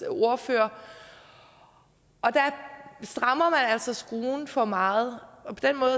ordfører og der strammer man altså skruen for meget